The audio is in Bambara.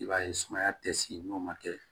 I b'a ye sumaya tɛ si n'o ma kɛ